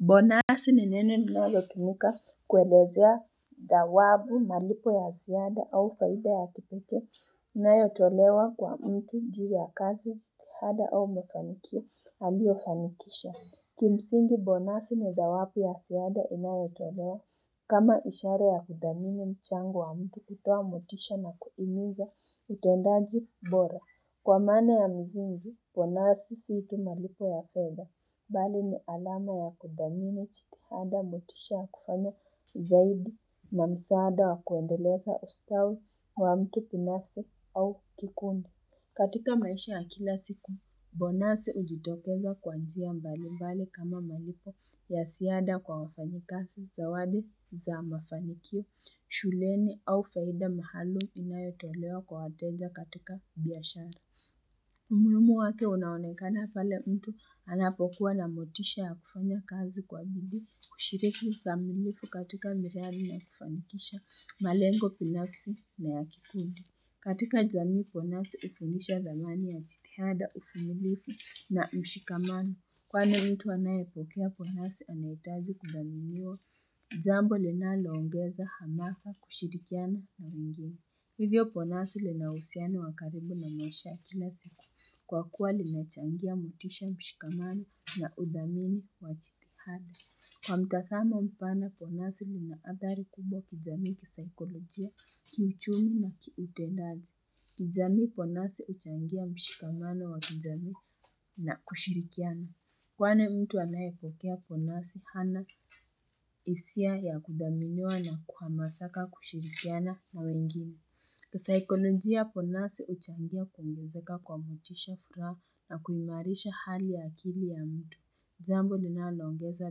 Bonasi ni neno linalotumika kwelezea dhawabu malipo ya ziada au faida ya kipekee inayotolewa kwa mtu juu ya kazi ziada au mafanikio aliofanikisha Kimsingi bonasi ni dhawabu ya ziada inayotolewa kama ishara ya kudhamini mchango wa mtu kutoa motisha na kuimiza utendaji bora Kwa maana ya mzingi, bonasi si tu malipo ya fedha, bali ni alama ya kudhamini jidihada motisha ya kufanya zaidi na msaada wa kuendeleza ustawi wa mtu binafsi au kikundu. Katika maisha ya kila siku, bonasi hujitokeza kwa njia mbali mbali kama malipo ya ziada kwa wafanyikazi zawadi za mafanikio, shuleni au faida maalum inayotolewa kwa wateja katika biashara. Umuhimu wake unaonekana pale mtu anapokuwa na motisha ya kufanya kazi kwa bidii kushiriki ukamilifu katika miradi na kufanikisha malengo binafsi na yankikundi. Katika jamii bonasi hufundisha thamani ya jidihada uvumilivu na mshikamano. Kwani mtu anaepokea bonasi anahitaji kudhaniniwa, jambo linaloongeza hamasa kushirikiana na wengine. Hivyo bonasi linauhusiano wa karibu na maisha ya kila siku. Kwa kuwa limechangia motisha mshikamano na udhamini wa jidihada. Kwa mtazamo mpana bonasi ni maandhari kubwa kijamii kisaikolojia, kiuchumi na kiutendaji. Kijamii bonasi huchangia mshikamano wa kijamii na kushirikiana. Kwani mtu anayepokea bonasi hana hisia ya kudhaminiwa na kuhamasaka kushirikiana na wengine. Kasaikonojia bonasi huchangia kuongezeka kwa motisha furaha na kuimarisha hali ya akili ya mtu. Jambo linaloongeza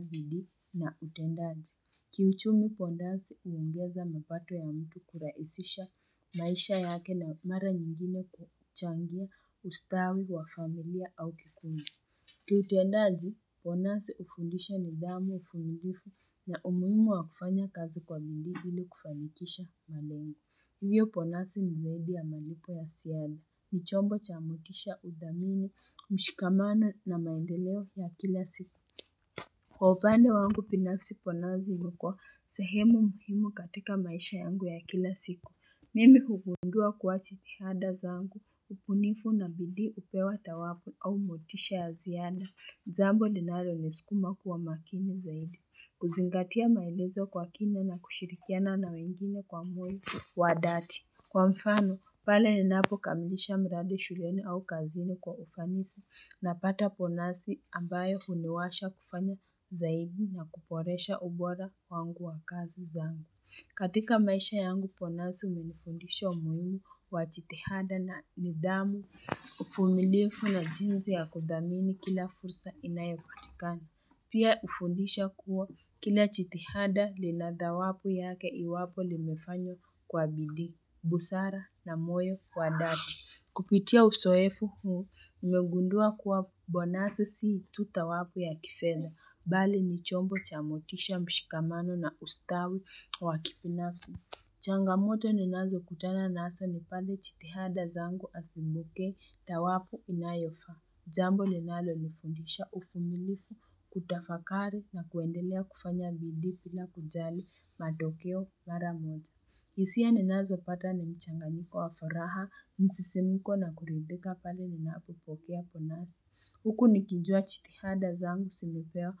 bidii na utendaji. Kiuchumii bonasi huongeza mapato ya mtu kurahisisha maisha yake na mara nyingine kuchangia ustawi wa familia au kikundi. Kiutendaji bonasi hufundisha nidhamu uvumilivu na umuhimu wa kufanya kazi kwa bidii ili kufanikisha malengo. Hivyo bonasi ni zaidi ya malipo ya ziada, ni chombo cha motisha udhamini, mshikamano na maendeleo ya kila siku Kwa upande wangu binafisi bonasi ilikuwa sehemu muhimu katika maisha yangu ya kila siku Mimi hugungua kuwa jidihada zangu, ubunifu na bidii hupewa thawabu au motisha ya ziada jambo linaloisukuma kuwa makini zaidi, kuzingatia maelezo kwa kina na kushirikiana na wengine kwa moyo wa dhati. Kwa mfano, pale ninapokamilisha mradi shuleni au kazini kwa ufanisi napata bonasi ambayo huniwasha kufanya zaidi na kuboresha ubora wangu wa kazi zangu. Katika maisha yangu bonasi umenifundisha umuhimu wa jidihada na nidhamu, uvumilivu na jinsi ya kudhamini kila fursa inayopatikani. Pia hufundisha kuwa kila jidihada lina dhawabu yake iwapo limefanywa kwa bidii busara na moyo wa dhati. Kupitia uzoefu huu, nimegundua kuwa bonasi si tu dhawabu ya kifedha. Bali ni chombo cha motisha mshikamano na ustawi wa kibinafsi. Changamoto ninazokutana nazo ni pale jidihada zangu haziniletei dhawabu inayofaa. Jambo linalonifundisha uvumilivu, kutafakari na kuendelea kufanya bidii bila kujali matokeo mara moja. Hisia ninazopata ni mchanganyiko wa faraha, msisimko na kuridhika pale ninapopokea bonasi. Huku nikijua jidihada zangu zanipea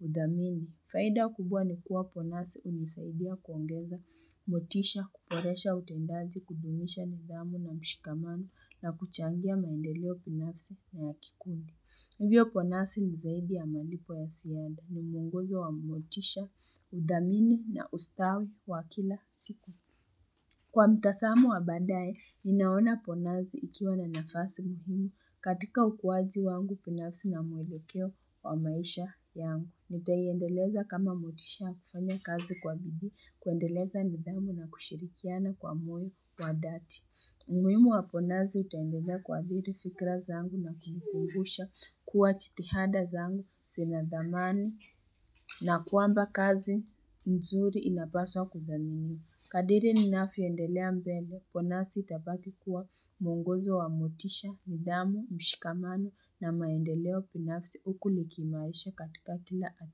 udhamini. Faida kubwa ni kuwa bonasi hunisaibia kuongeza motisha, kuboresha utendaji, kudumisha nidhamu na mshikamano na kuchangia maendeleo binafsi na ya kikundu. Hivyo bonasi ni zaidi ya malipo ya ziada ni mwongozo wa motisha, udhamini na ustawi wa kila siku. Kwa mtazamo wa baadaye, ninaona bonasi ikiwa na nafasi muhimi katika ukuaji wangu binafsi na mwelekeo wa maisha yangu. Niteiendeleza kama motisha ya kufanya kazi kwa bidii kuendeleza nidhamu na kushirikiana kwa moyo wa dhati. Umuhimu wa bonasi utaendelea kuathiri fikra zangu na kizikumbusha kuwa jidihada zangu zina dhamani na kwamba kazi mzuri inapaswa kudhaminiwa. Kadiri ninavyoendelea mbele bonasi itabaki kuwa mwongozo wa motisha, nidhamu, mshikamano na maendeleo binafsi huku likiimarisha katika kila hatua.